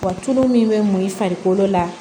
Wa tulu min bɛ mun i farikolo la